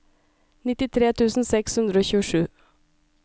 nittitre tusen seks hundre og tjuesju